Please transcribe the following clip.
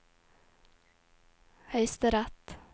høyesterett